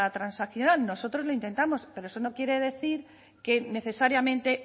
transaccional nosotros lo intentamos pero eso no quiere decir que necesariamente